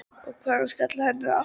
Og hávaðinn skall á henni aftur.